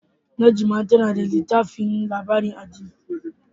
Najma tana da littafin labarin addini.